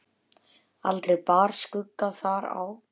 Aldrei bar skugga þar á.